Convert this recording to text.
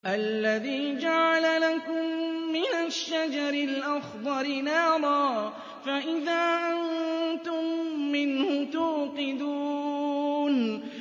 الَّذِي جَعَلَ لَكُم مِّنَ الشَّجَرِ الْأَخْضَرِ نَارًا فَإِذَا أَنتُم مِّنْهُ تُوقِدُونَ